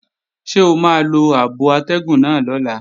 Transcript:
Ṣé o máa lo abo atẹ́gùn náà lọ́la?